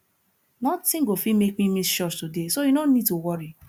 nothing go fit make me miss church today so you no need to worry